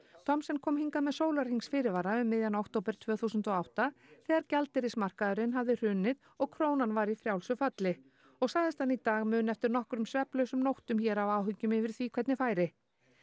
Thomsen kom hingað með sólarhrings fyrirvara um miðjan október tvö þúsund og átta þegar gjaldeyrismarkaðurinn hafði hrunið og krónan var í frjálsu falli og sagðist hann í dag muna eftir nokkrum svefnlausum nóttum hér af áhyggjum yfir því hvernig færi